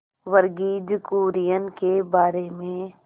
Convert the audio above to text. वर्गीज कुरियन के बारे में